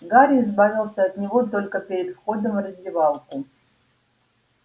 гарри избавился от него только перед входом в раздевалку